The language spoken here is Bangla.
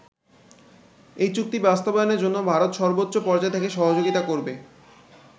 এই চুক্তি বাস্তবায়নের জন্য ভারত সর্বোচ্চ পর্যায় থেকে সহযোগিতা করবে।